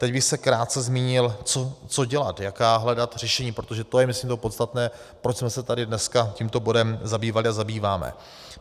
Teď bych se krátce zmínil, co dělat, jaká hledat řešení, protože to je myslím to podstatné, proč jsme se tady dneska tímto bodem zabývali a zabýváme.